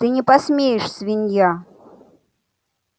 ты не посмеешь свинья